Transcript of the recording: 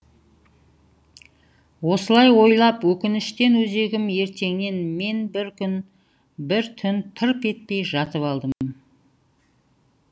осылай ойлап өкініштен өзегім өртенген мен бір күн бір түн тырп етпей жатып алдым